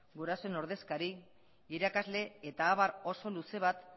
gurasoen ordezkari irakasle eta abar oso luze bat